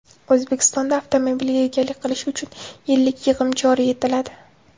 O‘zbekistonda avtomobilga egalik qilish uchun yillik yig‘im joriy etiladi.